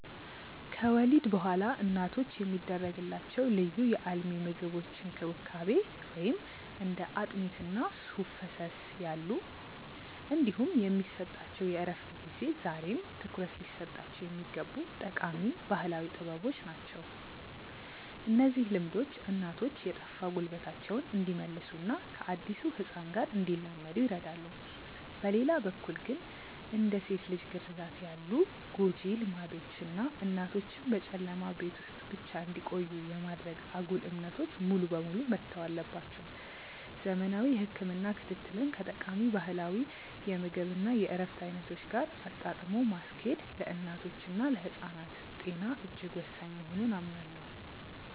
ከወሊድ በኋላ እናቶች የሚደረግላቸው ልዩ የአልሚ ምግቦች እንክብካቤ (እንደ አጥሚት እና ሱፍ ፈሰስ ያሉ) እንዲሁም የሚሰጣቸው የእረፍት ጊዜ ዛሬም ትኩረት ሊሰጣቸው የሚገቡ ጠቃሚ ባህላዊ ጥበቦች ናቸው። እነዚህ ልምዶች እናቶች የጠፋ ጉልበታቸውን እንዲመልሱና ከአዲሱ ህፃን ጋር እንዲላመዱ ይረዳሉ። በሌላ በኩል ግን፣ እንደ ሴት ልጅ ግርዛት ያሉ ጎጂ ልማዶች እና እናቶችን በጨለማ ቤት ውስጥ ብቻ እንዲቆዩ የማድረግ አጉል እምነቶች ሙሉ በሙሉ መተው አለባቸው። ዘመናዊ የህክምና ክትትልን ከጠቃሚ ባህላዊ የምግብ እና የእረፍት አይነቶች ጋር አጣጥሞ ማስኬድ ለእናቶችና ለህፃናት ጤና እጅግ ወሳኝ መሆኑን አምናለሁ።